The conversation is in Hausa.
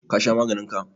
ka Sha maganin ka?